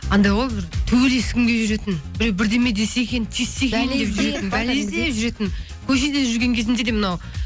анандай ғой бір төбелескім келіп жүретін біреу бірдеме десе екен тиіссе екен бәле іздеп жүретін көшеде жүрген кезімде де мынау